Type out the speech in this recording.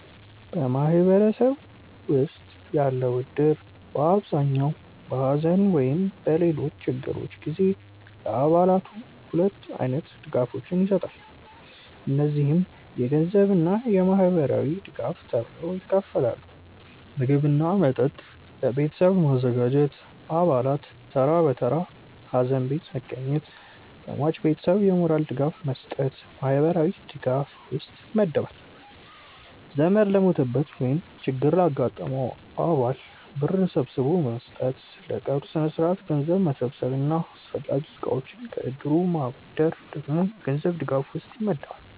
በማህበረሰቤ ውስጥ ያለው እድር በአብዛኛው በሐዘን ወይም በሌሎች ችግሮች ጊዜ ለአባላቱ ሁለት አይነት ድጋፎችን ይሰጣል። እነዚህም የገንዘብ እና ማህበራዊ ድጋፍ ተብለው ይከፈላሉ። ምግብ እና መጠጥ ለቤተሰቡ ማዘጋጀት፣ አባላት ተራ በተራ ሀዘን ቤት መገኘት፣ ለሟች ቤተሰብ የሞራል ድጋፍ መስጠት ማህበራዊ ድጋፍ ውስጥ ይመደባል። ዘመድ ለሞተበት ወይም ችግር ላጋጠመው አባል ብር ሰብስቦ መስጠት፣ ለቀብር ስነስርዓት ገንዘብ መሰብሰብ እና አስፈላጊ እቃዎችን ከእድሩ ማበደር ደግሞ የገንዘብ ድጋፍ ውስጥ ይመደባል።